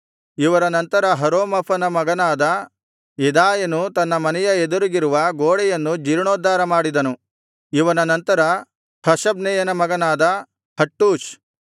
ಇವರ ನಂತರ ಹರೂಮಫನ ಮಗನಾದ ಯೆದಾಯನು ತನ್ನ ಮನೆಯ ಎದುರಿಗಿರುವ ಗೋಡೆಯನ್ನು ಜೀರ್ಣೋದ್ಧಾರ ಮಾಡಿದನು ಇವನ ನಂತರ ಹಷಬ್ನೆಯನ ಮಗನಾದ ಹಟ್ಟೂಷ್